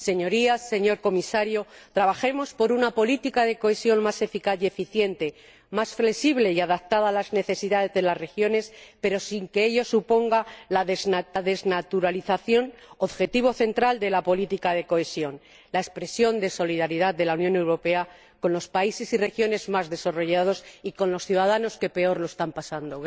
Señorías, señor Comisario, trabajemos por una política de cohesión más eficaz y eficiente, más flexible y adaptada a las necesidades de las regiones, sin que ello suponga la desnaturalización, objetivo central de la política de cohesión la expresión de solidaridad de la Unión Europea con los países y regiones más desarrollados y con los ciudadanos que peor lo están pasando.